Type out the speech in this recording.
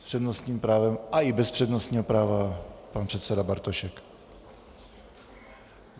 S přednostním právem, a i bez přednostního práva, pan předseda Bartošek.